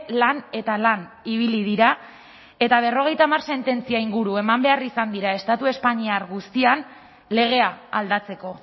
lan eta lan ibili dira eta berrogeita hamar sententzia inguru eman behar izan dira estatu espainiar guztian legea aldatzeko